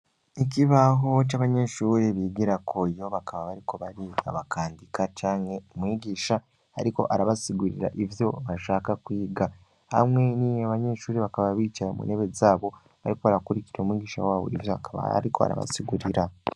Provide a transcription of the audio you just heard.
Ikibahoco abanyeshuri bigira ko yo bakaba bariko bari abakandika canke umwigisha, ariko arabasigurira ivyo bashaka kwiga hamwe nie abanyeshuri bakaba bicaye mu ntebe zabo, ariko barakurikira umwigisha w'abo ivyo akaba, ariko arabasigurira.